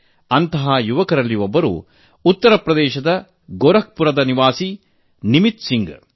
ಅಂತಹ ಯುವಕರಲ್ಲಿ ಉತ್ತರಪ್ರದೇಶದ ಗೋರಖ್ಪುರ ನಿವಾಸಿ ನಿಮಿತ್ ಸಿಂಗ್ ಒಬ್ಬರು